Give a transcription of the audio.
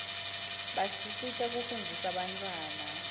basisita kufunzisa bantfwana